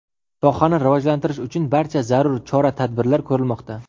Sohani rivojlantirish uchun barcha zarur chora-tadbirlar ko‘rilmoqda.